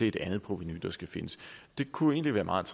et andet provenu der skal findes det kunne egentlig være meget